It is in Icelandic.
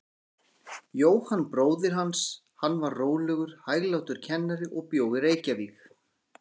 Jóhann bróðir hans, hann var rólegur, hæglátur kennari og bjó í Reykjavík.